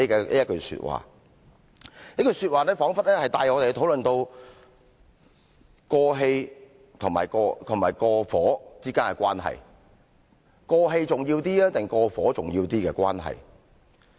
這一句說話彷彿帶我們討論到"過氣"和"過火"之間的關係；"過氣"重要一點，還是"過火"重要一點的關係？